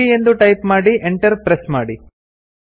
ಸಿಡಿಯ ಎಂದು ಟೈಪ್ ಮಾಡಿ Enter ಪ್ರೆಸ್ ಮಾಡಿ